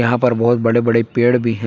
यहां पर बहोत बड़े बड़े पेड़ भी हैं।